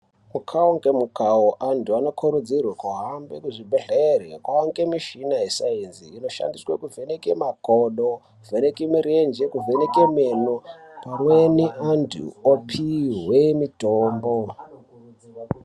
Mukawo ngemukawo antu anokurudzirwe kuhambe kuzvibhedhlere kwawande mushina yesainzi inoshandiswe kuvheneke makodo kuvheneke mirenje kuvheneke meno pamweni antu opihwe mitombo.